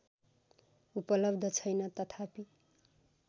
उपलब्ध छैन तथापि